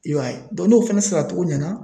I b'a ye n'o fana saracogo ɲɛna